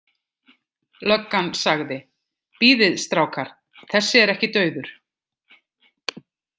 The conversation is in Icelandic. Löggan sagði: Bíðið strákar, þessi er ekki dauður.